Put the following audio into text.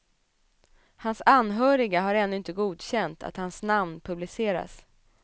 Hans anhöriga har ännu inte godkänt att hans namn publiceras.